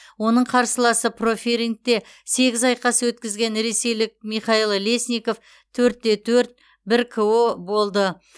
оның қарсыласы профирингте сегіз айқас өткізген ресейлік михаил лесников төрт те төрт бір ко болды